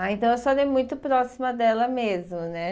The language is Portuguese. Ah, então a senhora é muito próxima dela mesmo, né?